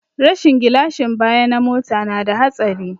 Rashin gilashin baya na mota na da hatsari